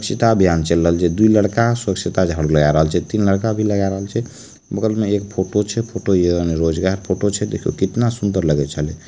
स्वच्छता अभियान चल रहल छै दू लड़का स्वच्छता झाड़ू लगा रहल छै तीन लड़का भी लगा रहल छै बगल में एक फोटो छै फोटो यानी रोजगार फोटो छै देखियो कितना सुंदर लगे छले।